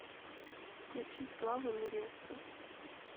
включи славу невеста